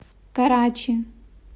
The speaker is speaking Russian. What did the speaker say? карачи